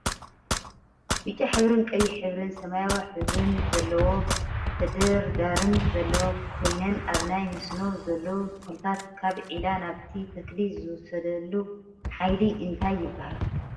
ብጫ ሕብሪን ቀይሕ ሕብሪን ሰማያዊ ሕብሪ ዘለዎን ተደርዲረን ዘለዋ ኮይነን ኣብ ናይ መስኖ ዘለው ተክልታት ካብ ዒላ ናብቲ ተክሊ ዝወስድሉ ሓይሊ እንታይ ይብሃል?